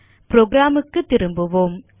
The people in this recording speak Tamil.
புரோகிராம் க்கு திரும்புவோம்